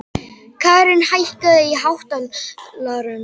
Karin, hækkaðu í hátalaranum.